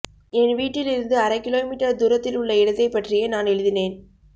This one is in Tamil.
என் வீட்டில் இருந்து அரை கிலோமீட்டர் தூரத்தில் உள்ள இடத்தைப்பற்றியே நான் எழுதினேன்